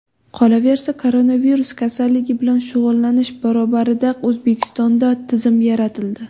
Qolaversa, koronavirus kasalligi bilan shug‘ullanish barobarida O‘zbekistonda tizim yaratildi.